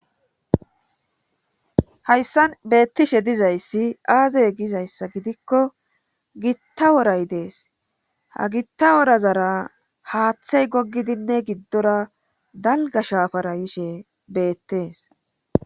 Hayssan beettishe dizayssi aazey gizayssa gidikko gitta woray dees ha gitta worazara haaththey goggidinne giddora dalga shaafara yishe beettees.